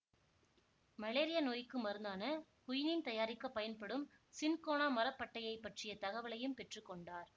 malaria நோய்க்கு மருந்தான quinine தயாரிக்க பயன்படும் சின்கோனா மரப்பட்டையைப் பற்றிய தகவலையும் பெற்று கொண்டார்